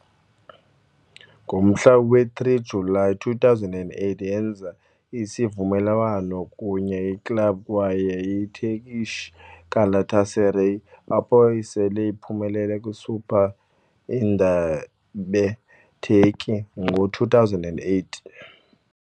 Ngomhla we-3 julayi 2008, yenza isivumelwano kunye club kwaye iturkish Galatasaray, apho sele uphumelele Super indebe Turkey, ngo-2008.